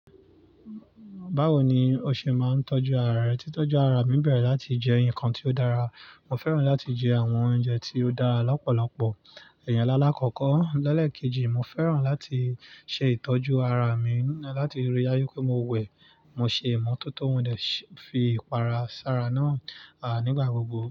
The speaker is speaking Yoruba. Báwo ni o ṣe máa ń tọ́jú ara rẹ? Títọ́jú ara mi bẹ̀rẹ̀ láti jẹ nǹkan tí ó dára. Mo fẹ́ràn láti jẹ àwọn oúnjẹ tí ó dára lọ́pọ̀lọpọ̀. Iyàn alákọ̀ọ́kọ́. Lẹ́lẹ̀ kejì, mo fẹ́ràn láti ṣe ìtọ́jú ara mi láti rí i dájú pé mo wẹ̀, mo ṣe ìmọ́tótó mo dẹ̀ fi ìpara sára náà nígbà gbogbo.